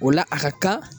O la a ka kan